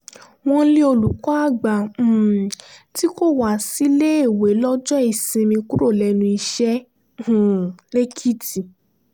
wọ́n lé olùkọ́-àgbà um tí kò wá síléèwé lọ́jọ́ ìsinmi kúrò lẹ́nu iṣẹ́ um lẹ́kìtì